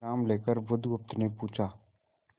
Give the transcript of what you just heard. विश्राम लेकर बुधगुप्त ने पूछा